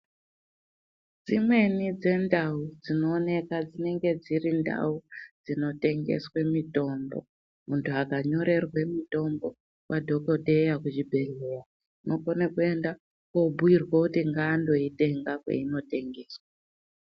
Dzimweni dzendau dzinooneka dzinenge dziri ndau dzinotengeswe mitombo. Muntu akanyorerwe mutombo kwadhokodheya kuchibhedhleya unokone kuenda kobhuyirwa kuti ngaandoitenga kweinotengeswa.